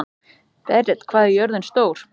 Berit, hvað er jörðin stór?